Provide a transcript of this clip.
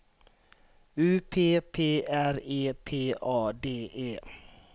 U P P R E P A D E